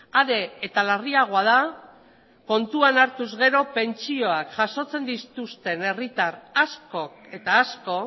are eta larriagoa da kontuan hartuz gero pentsioak jasotzen dituzten herritar asko eta asko